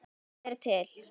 Tvennt er til.